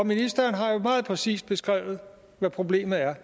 ministeren har jo meget præcis beskrevet hvad problemet er